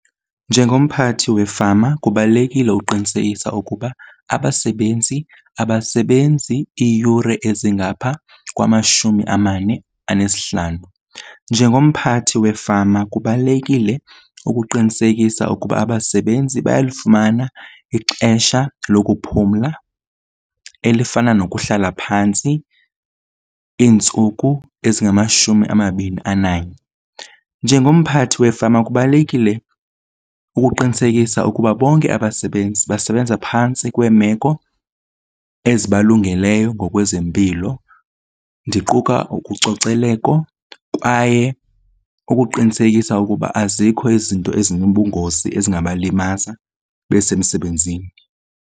Njengomphathi wefama kubalulekile uqinisekisa ukuba abasebenzi abasebenzi iiyure ezingaphaa kwamashumi amane anesihlanu. Njengomphathi wefama kubalulekile ukuqinisekisa ukuba abasebenzi bayalufumana ixesha lokuphumla elifana nokuhlala phantsi iintsuku ezingamashumi amabini ananye. Njengomphathi wefama kubalulekile ukuqinisekisa ukuba bonke abasebenzi basebenza phantsi kweemeko ezibalungeleyo ngokwezempilo ndiquka kwaye ukuqinisekisa ukuba azikho izinto ezinobungozi ezingabalimaza besemsebenzini.